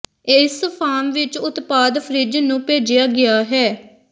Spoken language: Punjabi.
ਇਸ ਫਾਰਮ ਵਿੱਚ ਉਤਪਾਦ ਫਰਿੱਜ ਨੂੰ ਭੇਜਿਆ ਗਿਆ ਹੈ